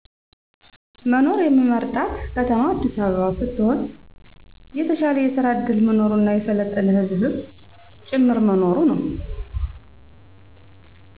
መኖር የምመርጣት ከተማ አዲሰ አበባ ሰትሆን የተሻለ የሰራ ዕድል መኖሩና የሰለጠነ ህዝብም ጭምር መኖሩ ነው።